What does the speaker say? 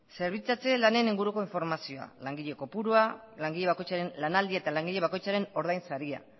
zerbitzatze lanaren inguruko informazioa langile kopurua langile bakoitzaren lanaldia eta langile bakoitzaren ordainsaria